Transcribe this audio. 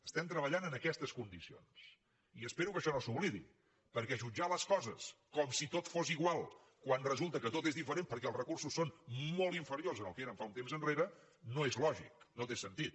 estem treballant en aquestes condicions i espero que això no s’oblidi perquè jutjar les coses com si tot fos igual quan resulta que tot és diferent perquè els recursos són molt inferiors del que eren un temps enrere no és lògic no té sentit